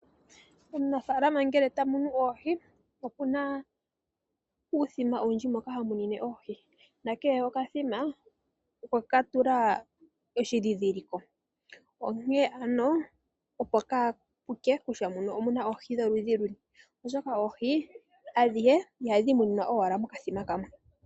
Omunafaalama ngele tamunu oohi okuna uuthima owundji moka ha munine oohi nakehe okwekatula oshindhindhiliko onkee ano opo kaapuke kutya muno omuna oohi ndholudhi luni, oshoka oohi adhihe ihadhi muninwa owala mokathima kamwe.